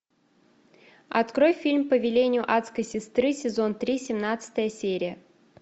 открой фильм по велению адской сестры сезон три семнадцатая серия